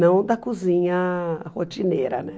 Não da cozinha rotineira, né?